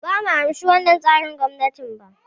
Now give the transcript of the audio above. Bumu amshi wannan tsarin gwamnatin ba